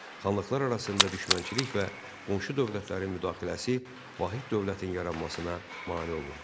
Xanlıqlar arasında düşmənçilik və qonşu dövlətlərin müdaxiləsi vahid dövlətin yaranmasına mane olurdu.